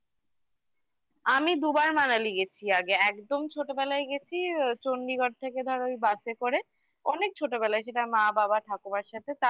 আমি দুবার Manali গেছি আগে একদম ছোটবেলায় গেছি Chandigarh থেকে ধরো ওই বাসে করে অনেক ছোটবেলায় সেটা মা বাবা ঠাকুমার সাথে